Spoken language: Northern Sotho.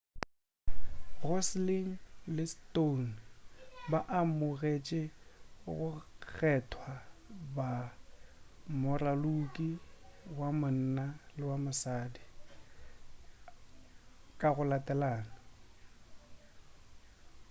gosling le stone ba amogetše go kgethwa ba moraloki wa monna le wa mosadi ka go latelana